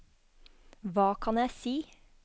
hva kan jeg si